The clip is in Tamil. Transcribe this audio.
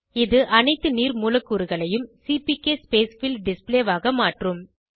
இது அனைத்து நீர் மூலக்கூறுகளையும் சிபிகே ஸ்பேஸ்ஃபில் டிஸ்ப்ளே ஆக மாற்றும்